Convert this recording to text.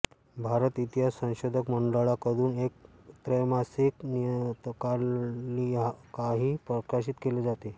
भारत इतिहास संशोधक मंडळाकडून एक त्रैमासिक नियतकालिकाही प्रकाशित केले जाते